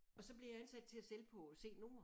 Og så bliver jeg ansat til at sælge på C nord